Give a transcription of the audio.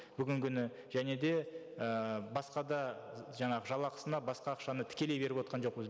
бүгінгі күні және де ііі басқа да жаңағы жалақысына басқа ақшаны тікелей беріп отырған жоқпыз